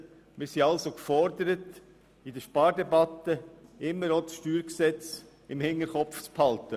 Wir sind also gefordert, in der Spardebatte immer auch das StG im Hinterkopf zu behalten.